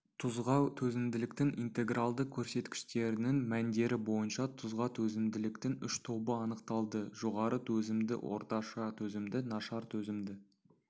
тұзға төзімділіктің интегралды көрсеткіштерінің мәндері бойынша тұзға төзімділіктің үш тобы анықталды жоғары төзімді орташа төзімді нашар төзімді